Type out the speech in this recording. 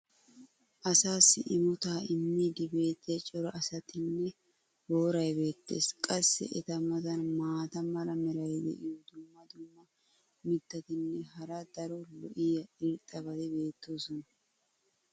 asaassi imotaa immiidi beetiya cora asatinne booray beetees. qassi eta matan maata mala meray diyo dumma dumma mitatinne hara daro lo'iya irxxabati beetoosona.